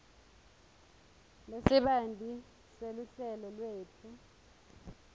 lesibanti seluhlelo lwetfu